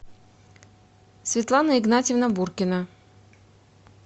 светлана игнатьевна буркина